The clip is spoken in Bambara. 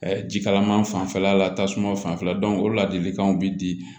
jikalaman fanfɛla la tasuma fanfɛla o ladilikanw bɛ di